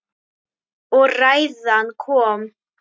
Og ræðan kom.